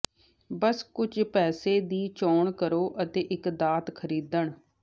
ਬਸ ਕੁਝ ਪੈਸੇ ਦੀ ਚੋਣ ਕਰੋ ਅਤੇ ਇੱਕ ਦਾਤ ਖਰੀਦਣ